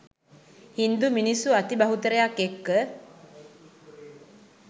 හින්දු මිනිස්සු අති බහුතරයක් එක්ක